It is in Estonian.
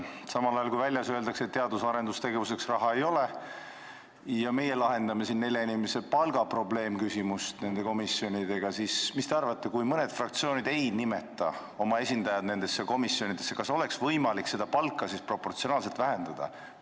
Samal ajal, kui väljas öeldakse, et teadus- ja arendustegevuseks raha ei ole, ja meie lahendame siin nende komisjonidega nelja inimese palga probleemküsimust, siis mis te arvate, kui mõned fraktsioonid ei nimeta oma esindajaid nendesse komisjonidesse, kas oleks võimalik seda palka proportsionaalselt vähendada?